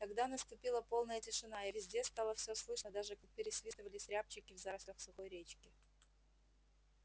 тогда наступила полная тишина и везде стало всё слышно даже как пересвистывались рябчики в зарослях сухой речки